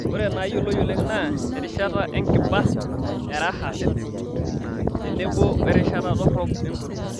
Ore naayioloi oleng' naa erishata enkiba eraha tenebo werishata dorrop engoro.